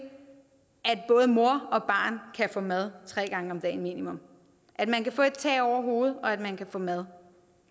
at både mor og barn kan få mad tre gange om dagen minimum at man kan have tag over hovedet og at man kan få mad